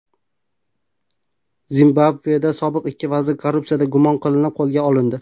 Zimbabveda sobiq ikki vazir korrupsiyada gumon qilinib qo‘lga olindi.